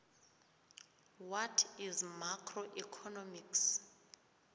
what is macroeconomics